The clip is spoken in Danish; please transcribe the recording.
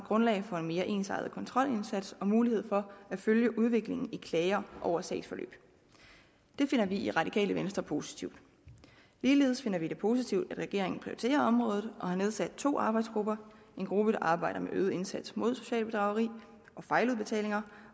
grundlag for en mere ensartet kontrolindsats og give mulighed for at følge udviklingen i klager over sagsforløb det finder vi i radikale venstre positivt ligeledes finder vi det positivt at regeringen prioriterer området og har nedsat to arbejdsgrupper en gruppe der arbejder med øget indsats mod socialt bedrageri og fejludbetalinger